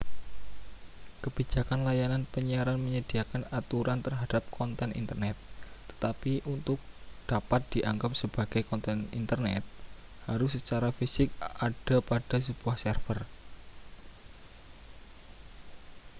kebijakan layanan penyiaran menyediakan aturan terhadap konten internet tetapi untuk dapat dianggap sebagai konten internet harus secara fisik ada pada sebuah server